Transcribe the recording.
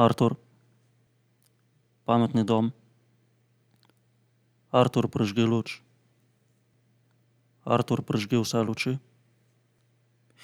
Artur. Pametni dom. Artur, prižgi luč. Artur, prižgi vse luči.